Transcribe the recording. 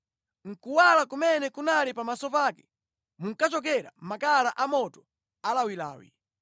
Mʼkuwala kumene kunali pamaso pake munkachokera makala amoto alawilawi.